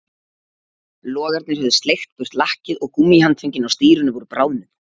Logarnir höfðu sleikt burt lakkið og gúmmíhandföngin á stýrinu voru bráðnuð